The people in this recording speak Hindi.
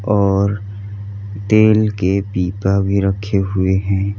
और तेल के पीपा भी रखे हुए हैं।